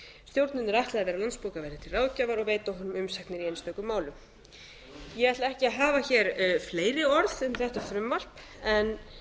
stjórninni er ætlað að vera landsbókaverði til ráðgjafar og veita honum umsagnir í einstökum málum ég ætla ekki að hafa hér fleiri orð um þetta frumvarp en